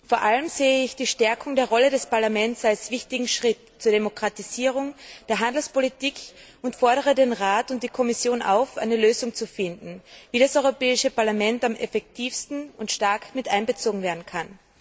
Vor allem sehe ich die Stärkung der Rolle des Parlaments als wichtigen Schritt zur Demokratisierung der Handelspolitik und fordere den Rat und die Kommission auf, eine Lösung zu finden, wie das Europäische Parlament am effektivsten und stark miteinbezogen werden kann.